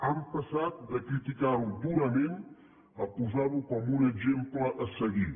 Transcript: han passat de criticar ho durament a posar ho com un exemple a seguir